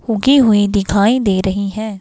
उगी हुई दिखाई दे रही है।